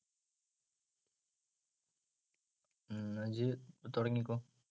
ഉം എന്നാ ഇജ്ജ് തൊടങ്ങിക്കോ.